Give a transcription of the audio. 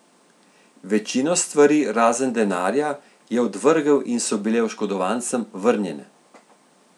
Večino stvari, razen denarja, je odvrgel in so bile oškodovancem vrnjene.